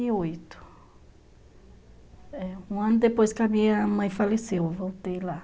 Um ano depois que a minha mãe faleceu, eu voltei lá.